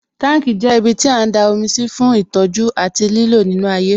Tanki jẹ́ ibiti a ń da omi sí fún ìtọ́jú àti lílò nínú ayé